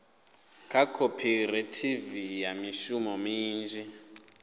kha khophorethivi ya mishumo minzhi